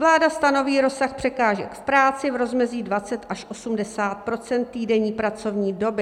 Vláda stanoví rozsah překážek v práci v rozmezí 20 až 80 % týdenní pracovní doby.